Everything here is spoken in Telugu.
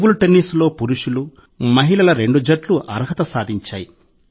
టేబుల్ టెన్నిస్లో పురుషులు మహిళల రెండు జట్లు అర్హత సాధించాయి